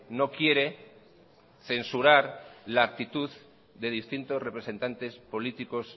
no quiere censurar la actitud de distintos representantes políticos